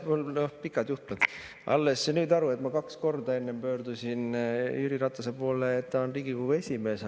Mul on pikad juhtmed, ma alles nüüd sain aru, et ma kaks korda enne pöördusin Jüri Ratase kui Riigikogu esimehe poole.